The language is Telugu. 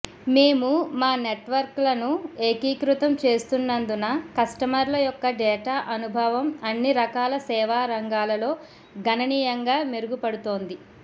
మేము మా నెట్వర్క్లను ఏకీకృతం చేస్తూన్నందున కస్టమర్ల యొక్క డేటా అనుభవం అన్ని రకాల సేవా రంగాలలో గణనీయంగా మెరుగుపడుతోంది